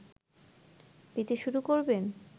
পেতে শুরু করবেন